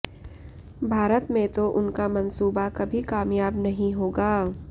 भारत में तो उनका मंसूबा कभी कामयाब नहीं होगा